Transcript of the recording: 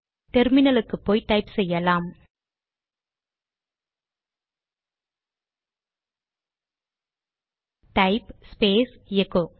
டெர்மினலுக்கு போய் டைப் செய்யலாம் டைப் ஸ்பேஸ் எகோ